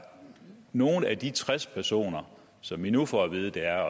nogle af de tres personer som vi nu får at vide det er